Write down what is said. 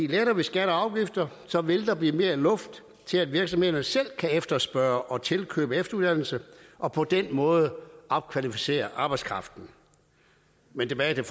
letter vi skatter og afgifter vil der blive mere luft til at virksomhederne selv kan efterspørge og tilkøbe efteruddannelse og på den måde opkvalificere arbejdskraften men tilbage til